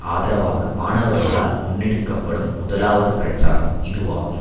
ஆதரவாக மாணவர்களால் முன்னெடுக்க படும் முதலாவது பிரச்சாரம் இதுவாகும்